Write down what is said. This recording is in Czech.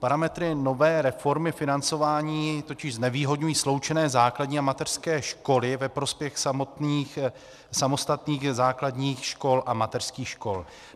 Parametry nové reformy financování totiž znevýhodňují sloučené základní a mateřské školy ve prospěch samostatných základních škol a mateřských škol.